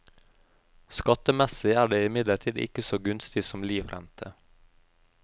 Skattemessig er det imidlertid ikke så gunstig som livrente.